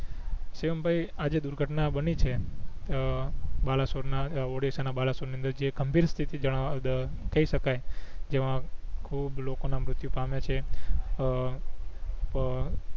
શિવમભાઈ આ જે દુર્ઘટના બની છે અ બલાસોર ના ઓડીસ્સા ના બલસોર ની અદંર જે ગંભીર સ્થિતિ જાણવા દર કઈ સકાય જેમાં ખૂબ લોકો ના મૃત્યુ પામિયા છે અ પ